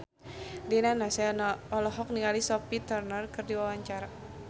Rina Nose olohok ningali Sophie Turner keur diwawancara